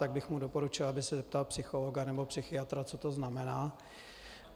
Tak bych mu doporučil, aby se zeptal psychologa nebo psychiatra, co to znamená.